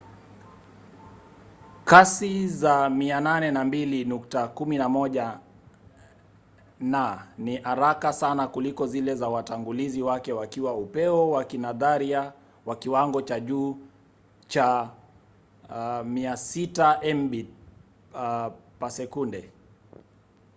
kasi za 802.11n ni haraka sana kuliko zile za watangulizi wake zikiwa upeo wa kinadharia wa kiwango cha juu cha 600mbit/s